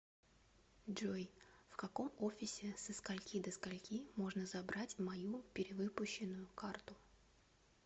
джой в каком офисе со скольки до скольки можно забрать мою перевыпущенную карту